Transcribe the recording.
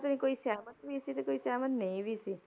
ਕੋਈ ਕੋਈ ਸਹਿਮਤ ਵੀ ਸੀ ਤੇ ਕੋਈ ਸਹਿਮਤ ਨਹੀਂ ਵੀ ਸੀ।